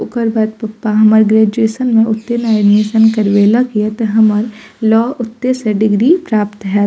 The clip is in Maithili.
ओकर बाद पप्पा हमर ग्रेजुएशन में ओते न एडमिशन करवेला गयात हमर लॉ ओते से डिग्री प्राप्त हैत।